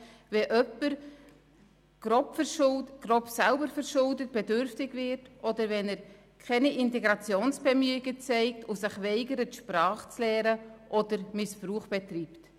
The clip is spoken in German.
Dies, wenn jemand grob selbstverschuldet bedürftig wird, oder wenn er keine Integrationsbemühungen zeigt, sich weigert, die Sprache zu erlernen oder Missbrauch betreibt.